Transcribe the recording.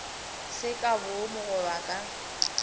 se ka boomo goba ka